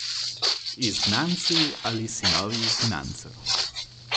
Izgnanci ali sinovi izgnancev.